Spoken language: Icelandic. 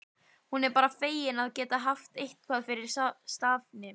Hún er bara fegin að geta haft eitthvað fyrir stafni.